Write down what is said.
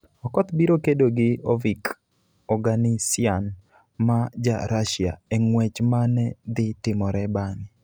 Okoth biro kedo gi Ovik Oganisyan ma Ja - Russia e ng'wech ma ne dhi timore bang'e.